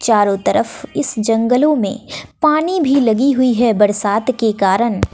चारों तरफ इस जंगलों में पानी भी लगी हुई है बरसात के कारन--